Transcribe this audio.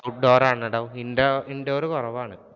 outdoor ആണെടോ indoor കുറവാണ്.